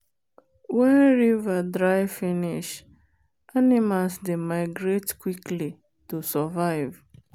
wen river dry finish animals dey migrate quickly to survive